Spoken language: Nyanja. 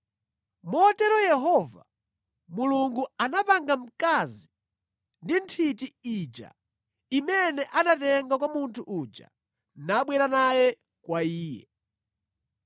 Motero Yehova Mulungu anapanga mkazi ndi nthiti ija imene anatenga kwa munthu uja nabwera naye kwa iye.